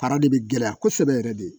Fara de bɛ gɛlɛya kosɛbɛ yɛrɛ de